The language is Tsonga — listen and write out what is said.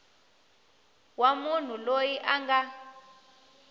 wa munhu loyi a nga